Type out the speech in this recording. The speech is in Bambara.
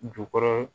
Jukɔrɔ